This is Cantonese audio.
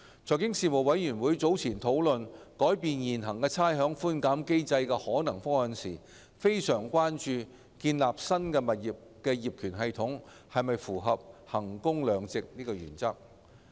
財經事務委員會早前討論改變現行差餉寬減機制的可能方案時，非常關注建立新物業業權系統是否符合衡工量值的原則。